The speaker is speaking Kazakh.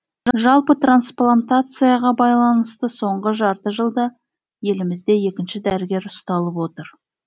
жалпы трансплантацияға байланысты соңғы жарты жылда елімізде екінші дәрігер ұсталып отыр